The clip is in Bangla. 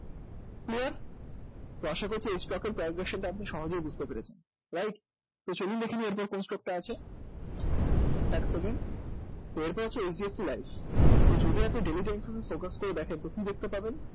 clear? তার সাথে হচ্ছে এই stock এর price টা আপনি সহজেই বুঝতে পেরেছেন right? তো চলুক দেখে নিই এর পর কোন stock টা আছে এক second তো এরপর হচ্ছে HDFC life তো যদি আপনি daily এ focus করে দেখেন তো কি দেখতে পাবেন?